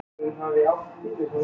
Fæturnir á henni.